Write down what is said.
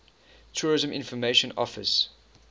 tourist information office